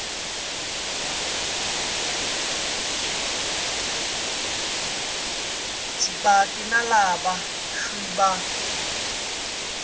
vaaki na lava swi va